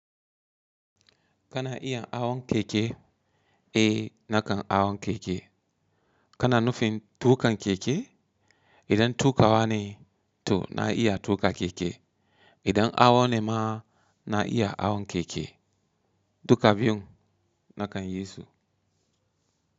Kana iya awon keke, eh nakan awon keke. Kana nufin tukan keke, idan tukawa ne to na iya tuka keke. Idan awon ne ma na iya awon keke. Duka biyun nakan yi su.